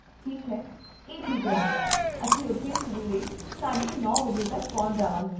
ਠੀਕ ਹੈ, ਇਹ ਠੀਕ ਰਹੇਗਾ, ਅਸੀਂ ਉੱਥੇ ਸਵੇਰੇ ਸਾਢੇ ਨੌ ਵਜੇ ਤੱਕ ਪਹੁੰਚ ਜਾਵਾਂਗੇ